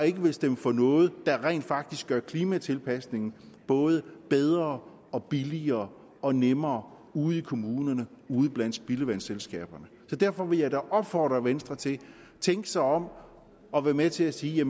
ikke vil stemme for noget der rent faktisk gør klimatilpasning både bedre og billigere og nemmere ude i kommunerne og ude blandt spildevandsselskaberne så derfor vil jeg opfordre venstre til at tænke sig om og være med til at sige